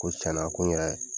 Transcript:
Ko tiɲɛna ko n yɛrɛ